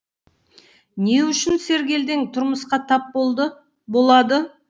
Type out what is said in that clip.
не үшін сергелдең тұрмысқа тап болады